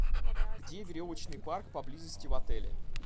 где веревочный парк поблизости в отеле